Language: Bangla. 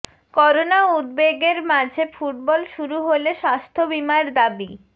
করোনা উদ্বেগের মাঝে ফুটবল শুরু হলে স্বাস্থ্য বিমার দাবি